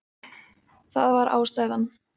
Það var ástæðan.